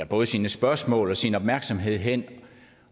både sine spørgsmål og sin opmærksomhed hen